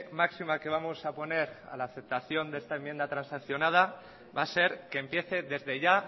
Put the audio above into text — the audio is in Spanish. máxima que vamos a poner a la aceptación de esta enmienda transaccionada va a ser que empiece desde ya